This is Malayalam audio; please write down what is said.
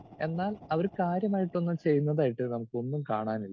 സ്പീക്കർ 2 എന്നാൽ അവര് കാര്യമായിട്ടൊന്നും ചെയ്യുന്നതായിട്ട് നമുക്കൊന്നും കാണാനില്ല.